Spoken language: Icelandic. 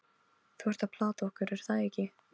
Þú ert að plata okkur, er það ekki?